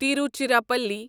Tiruchirappalli